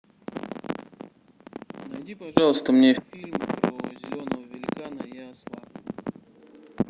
найди пожалуйста мне фильм про зеленого великана и осла